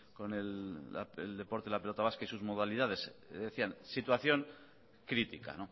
con el deporte de la pelota vasca y sus modalidades decían situación crítica